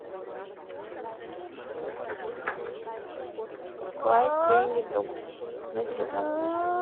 класть деньги другу на телефон